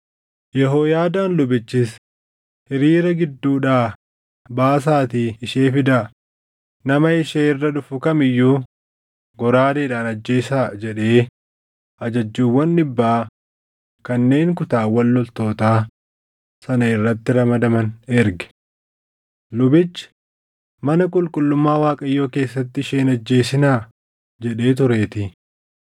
Yehooyaadaan lubichis, “Hiriira gidduudhaa baasaatii ishee fidaa; nama ishee irra dhufu kam iyyuu goraadeedhaan ajjeesaa” jedhee ajajjuuwwan dhibbaa kanneen kutaawwan loltootaa sana irratti ramadaman erge. Lubichi, “Mana qulqullummaa Waaqayyoo keessatti ishee hin ajjeesinaa” jedhee tureetii.